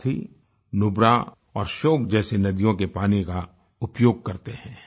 साथ ही नुबरा और श्योक जैसी नदियों के पानी का उपयोग करते हैं